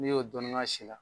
N'i y'o dɔɔnin k'a si la